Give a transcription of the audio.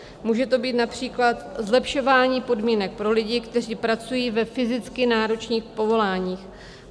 Může to být například zlepšování podmínek pro lidi, kteří pracují ve fyzicky náročných povoláních.